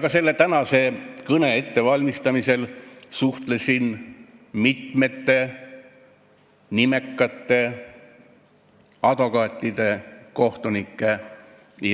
Ka selle tänase kõne ettevalmistamisel suhtlesin mitme nimeka advokaadi, kohtuniku